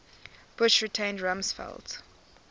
bush retained rumsfeld